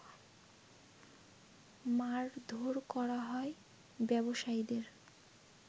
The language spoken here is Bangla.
মারধোর করা হয় ব্যবসায়ীদের